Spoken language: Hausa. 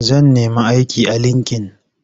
Zan nemi aiki a linki-in.